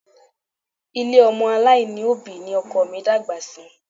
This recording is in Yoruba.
Ilé ọmọ aláìní ni òbí ni ọkọ mi dàgbà sí